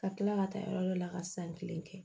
Ka kila ka taa yɔrɔ dɔ la ka san kelen kɛ